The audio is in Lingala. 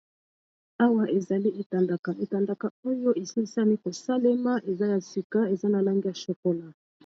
Awa ezali etandaka etandaka oyo esilisami kosalema eza ya sika eza na langi ya chokola.